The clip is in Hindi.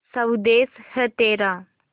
स्वदेस है तेरा